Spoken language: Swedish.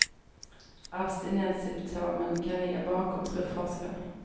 Abstinenssymptomen kan ligga bakom, tror forskarna.